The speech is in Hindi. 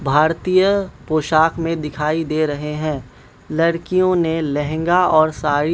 भारतीय पोशाक में दिखाई दे रहे हैं लड़कियों ने लहंगा और साड़ी--